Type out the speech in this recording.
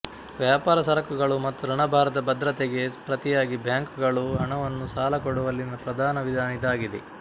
ವ್ಯಾಪಾರ ಸರಕುಗಳು ಮತ್ತು ಋಣಭಾರದ ಭದ್ರತೆಗೆ ಪ್ರತಿಯಾಗಿ ಬ್ಯಾಂಕುಗಳು ಹಣವನ್ನು ಸಾಲಕೊಡುವಲ್ಲಿನ ಪ್ರಧಾನ ವಿಧಾನ ಇದಾಗಿದೆ